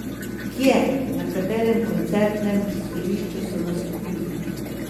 Kje, na katerem koncertnem prizorišču so nastopili?